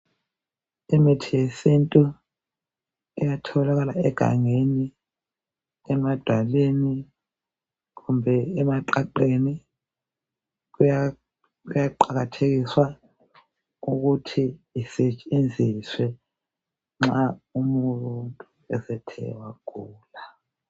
Imithi yesintu iyatholakala egangeni emadwaleni kumbe emaqaqeni. Kuyaqakathekiswa ukuthi isetshenziswe nxa umuntu esethe wagula.